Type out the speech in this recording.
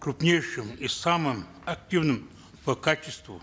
крупнейшим и самым активным по качеству